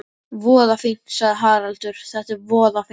Voða fínt, sagði Haraldur, þetta er voða fínt.